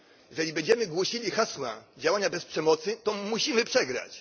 Jeżeli będziemy głosili hasła działania bez przemocy, to musimy przegrać.